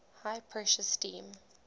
high pressure steam